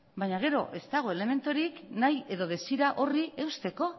baina gero ez dago elementurik nahi edo desira horri eusteko